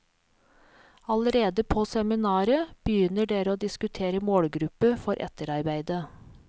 Allerede på seminaret begynner dere å diskutere målgruppe for etterarbeidet.